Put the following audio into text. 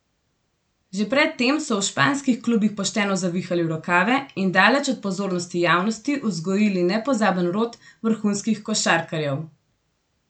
Že pred tem so v španskih klubih pošteno zavihali rokave in daleč od pozornosti javnosti vzgojili nepozaben rod vrhunskih košarkarjev.